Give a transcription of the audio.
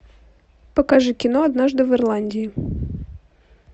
покажи кино однажды в ирландии